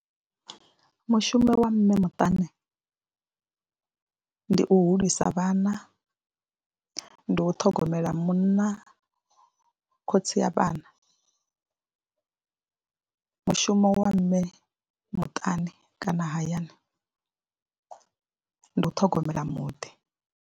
Mushumo wa mme muṱani ndi u hulisa vhana, ndi u ṱhogomela munna khotsi ya vhana, mushumo wa mme muṱani kana hayani ndi u ṱhogomela muḓi.